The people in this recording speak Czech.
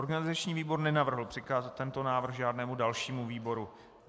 Organizační výbor nenavrhl přikázat tento návrh žádnému dalšímu výboru.